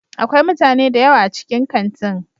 Akwai mutane da yawa a cikin kantin.